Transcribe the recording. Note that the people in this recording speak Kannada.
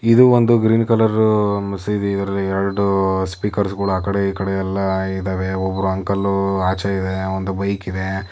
ಇದು ಒಂದು ಗ್ರೀನ್ ಕಲರ್ ಮಸೀದಿಯಲ್ಲಿ ಎರೆಡು ಸ್ಪಿಕರ್ಗಳು ಆ ಕಡೆ ಇಕಡೆ ಎಲ್ಲ ಇದೇವೆ. ಒಬ್ಬರು ಅಂಕಲು ಆಚೆ ಇದ್ದಾರೆ ಒಂದು ಬೈಕ್ ಇದೆ.